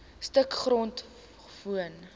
stuk grond woon